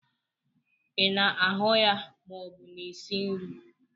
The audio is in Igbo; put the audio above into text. Ị na-ahu ya ma ọ bụ na-esi nri?